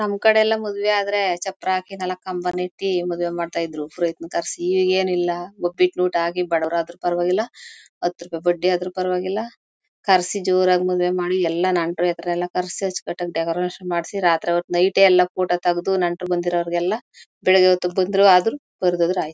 ನಮ್ ಕಡೆ ಎಲ್ಲ ಮದ್ವೆ ಆದ್ರೆ ಚಪ್ರಾ ಆಕಿ ನಾಲಕ್ ಕಂಬನ್ ಇಟ್ಟಿ ಮದ್ವೆ ಮಾಡ್ತಾ ಇದ್ರೂ ಪುರೋಹಿತನ ಕರ್ಸಿ ಈಗೇನಿಲ್ಲ ಬಡವರಾದ್ರು ಪರವಾಗಿಲ್ಲ ಹಥ್ ರೂಪಾಯಿ ಬಡ್ಡಿ ಆದ್ರೂ ಪರವಾಗಿಲ್ಲ ಕರ್ಸಿ ಜೋರಾಗಿ ಮದ್ವೆ ಮಾಡಿ ಎಲ್ಲ ನೆಂಟ್ರುಗೆಲ್ಲ ಕರ್ಸಿ ಅಚ್ಕಟ್ಟಾಗಿ ಡೆಕೋರೇಷನ್ ಮಾಡ್ಸಿ ರಾತ್ರಿಹೊತ್ ನೈಟ್ ಯೇ ಎಲ್ಲ ಫೋಟೋ ತಗದು ನೆಂಟ್ರು ಬಂದಿರರೊಗೆಲ್ಲ ಬೆಳಿಗ್ಗೆ ಹೋತ್ ಬಂದ್ರು ಆಯಿತು ಬರ್ದೇ ಹೋದ್ರು ಆಯಿತು.